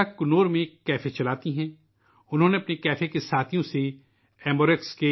انہوں نے ایمبو آر ایکس کے لئے اپنے کیفے کے ساتھیوں سے سرمایہ اکٹھا کیا تھا